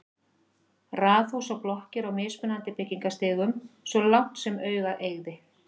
Raðhús og blokkir á mismunandi byggingarstigum svo langt sem augað eygði.